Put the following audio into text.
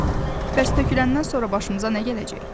Yaxşı, bəs töküləndən sonra başımıza nə gələcek?